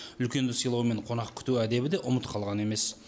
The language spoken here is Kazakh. үлкенді сыйлау мен қонақ күту әдебі де ұмыт қалған емес